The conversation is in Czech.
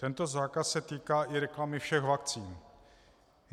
Tento zákaz se týká i reklamy všech vakcín.